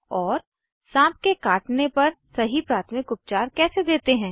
और साँप के काटने पर सही प्राथमिक उपचार कैसे देते हैं